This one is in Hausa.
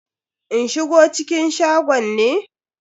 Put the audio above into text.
In shigo cikin shagon ne?